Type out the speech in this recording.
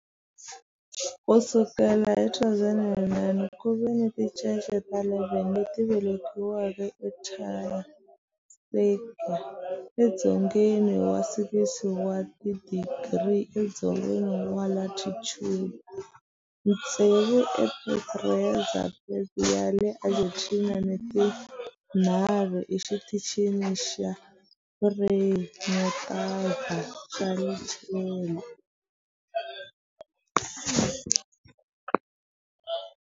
Ku sukela hi 2009, ku ve ni tincece ta 11 leti velekiweke eAntarctica edzongeni wa 60 wa tidigri edzongeni wa latitude, tsevu eEsperanza Base ya le Argentina ni tinharhu eXitichini xa Frei Montalva xa le Chile.